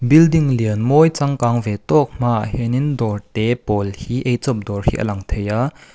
building lian mawi changkang ve tawk hmaah hian in dawr te pawl hi ei chawp dawr hi a lang thei a.